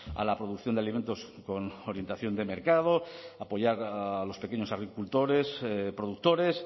a la producción de alimentos con orientación de mercado apoyar a los pequeños agricultores productores